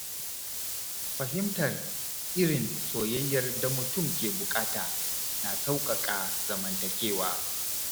Fahimtar irin soyayyar da mutum ke buƙata na sauƙaƙa zamantakewa.